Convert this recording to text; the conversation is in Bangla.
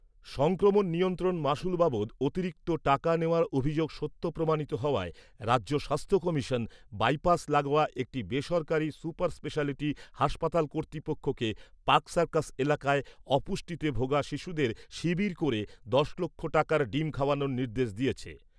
সংক্রমণ নিয়ন্ত্রণ মাশুল বাবদ অতিরিক্ত টাকা নেওয়ার অভিযোগ সত্য প্রমাণিত হওয়ায় রাজ্য স্বাস্থ্য কমিশন, বাইপাস লাগোয়া একটি বেসরকারি সুপারস্পেশালিটি হাসপাতাল কর্তৃপক্ষকে পার্ক সার্কাস এলাকায় অপুষ্টিতে ভোগা শিশুদের শিবির করে দশ লক্ষ টাকার ডিম খাওয়ানোর নির্দেশ দিয়েছে।